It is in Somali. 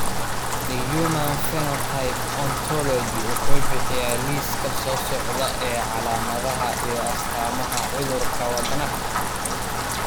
The Human Phenotype Ontology wuxuu bixiyaa liiska soo socda ee calaamadaha iyo astaamaha cudurka Wadnaha.